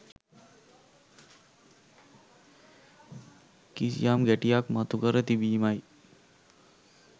කිසියම් ගැටියක් මතුකර තිබීමයි.